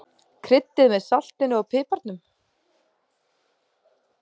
Kryddið með saltinu og piparnum.